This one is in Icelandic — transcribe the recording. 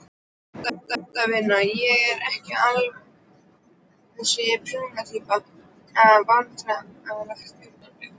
Handavinnu, ég er ekki alveg þessi prjóna týpa Vandræðalegasta augnablik?